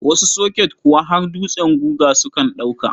Wasu soket kuwa har dutsen guga sukan ɗauka.